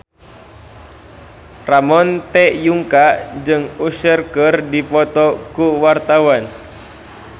Ramon T. Yungka jeung Usher keur dipoto ku wartawan